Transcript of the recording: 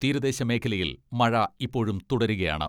തീരദേശ മേഖലയിൽ മഴ ഇപ്പോഴും തുടരുകയാണ്.